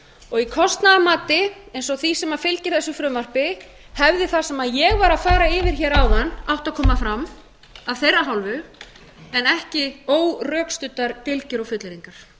og í kostnaðarmat eins og því sem fylgir þessu frumvarpi hefði það sem ég var að fara yfir hér áðan átt að koma fram af þeirra hálfu en ekki órökstuddar dylgjur og fullyrðingar